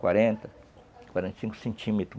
Quarenta, quarenta e cinco centímetros.